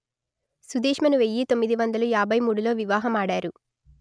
సుదేష్మను వెయ్యి తొమ్మిది వందలు యాభై మూడులో వివాహమాడారు